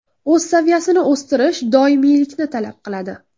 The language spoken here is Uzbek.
O‘z saviyasini o‘stirish doimiylikni talab qiladi.